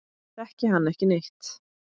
Þekki hann ekki neitt.